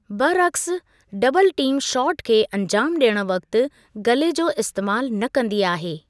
बरअक़्स, double team shot खे अंजामु ॾियणु वक़्ति गले जो इस्तेमालु न कंदी आहे।